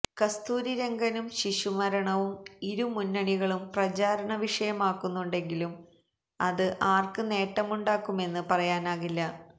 കസ്തൂരിരംഗനും ശിശു മരണവും ഇരു മുന്നണികളും പ്രചാരണ വിഷയമാക്കുന്നുണ്ടെങ്കിലും അത് ആര്ക്ക് നേട്ടമുണ്ടാക്കുമെന്ന് പറയാനാകില്ല